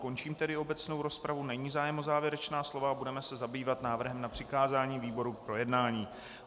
Končím tedy obecnou rozpravu, není zájem o závěrečná slova a budeme se zabývat návrhem na přikázání výborům k projednání.